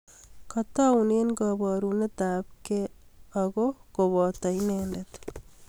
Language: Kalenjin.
Kataune kaborunet apkey ako koboto inendet